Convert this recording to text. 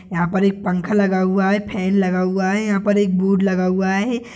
यहाँ पर एक पंखा लगा हुआ है फेन लगा हुआ है यहाँ पर एक बुड लगा हुआ है।